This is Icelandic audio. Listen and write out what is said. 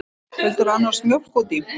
Vildirðu annars mjólk út í?